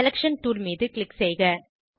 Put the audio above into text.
selection tool மீது click செய்க